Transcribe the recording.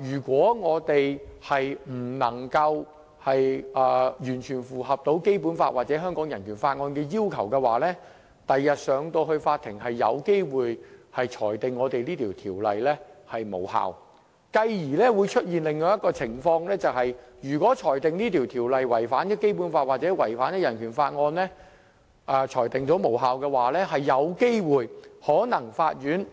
如果我們不能完全符合《基本法》或《香港人權法案條例》的要求，日後是有機會被法庭裁定《條例草案》無效的，繼而會出現另一種情況，就是如果《條例草案》被裁定違反《基本法》或《香港人權法案條例》而致無效，法院更可能